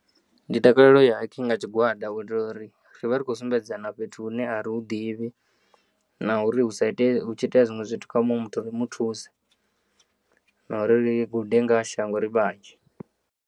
Ndi takalela uya hiking nga tshigwada u itela uri ri vha ri kho sumbedzana fhethu hune a ri hu ḓivhi na uri hu sa ite hu tshi iteya zwiṅwe zwithu kha muṅwe muthu ri muthuse na uri ri gude ngaha shango ri vhanzhi.